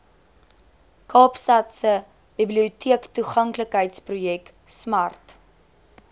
kaapstadse biblioteektoeganklikheidsprojek smart